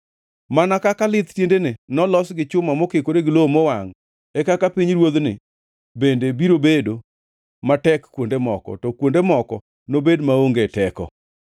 Mana kaka lith tiendene nolos gi chuma mokikore gi lowo mowangʼ, e kaka pinyruodhni bende biro bedo matek kuonde moko, to kuonde moko nobed maonge teko.